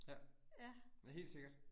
Ja. Helt sikkert